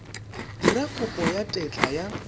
dira kopo ya tetla ya